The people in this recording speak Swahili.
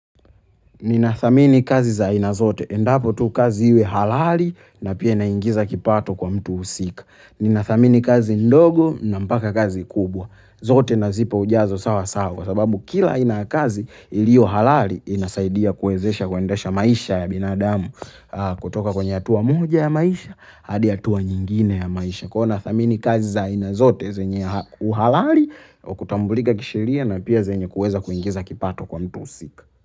Nina thamini kazi za aina zote. Endapo tu kazi iwe halali na pia inaingiza kipato kwa mtu husika. Ninathamini kazi mdogo na mpaka kazi mkubwa zote nazipa ujazo sawa sawa kwa sababu kila aina ya kazi ilio halali inasaidia kuwezesha kuendesha maisha ya binadamu. Kutoka kwenye hatua moja ya maisha, hadi hatua nyingine ya maisha. Kuwa na thamini kazi za aina zote zenye uhalali, kutambulika kisheria na pia zenye kuweza kuingiza kipato kwa mtu husika.